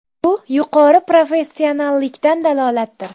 Bu yuqori professionallikdan dalolatdir.